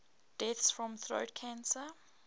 deaths from throat cancer